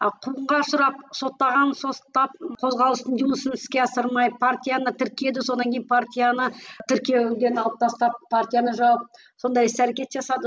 ал қуғынға ұшырап соттағанын соттап қозғалыстың жұмысын іске асырмай партияны тіркеді сонан кейін партияны тіркеуден алып тастап партияны жауып сондай іс әрекет жасады